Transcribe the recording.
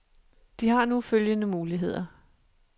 De har nu følgende muligheder.